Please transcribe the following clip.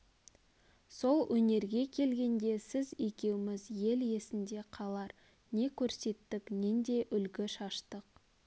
сол өнерге келгенде сіз екеуіміз ел есінде қалар не көрсеттік нендей үлгі шаштық